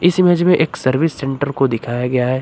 इस इमेज में एक सर्विस सेंटर को दिखाया गया है।